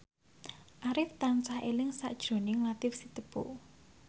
Arif tansah eling sakjroning Latief Sitepu